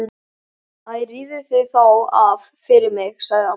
Æ rífðu þá af fyrir mig sagði amma.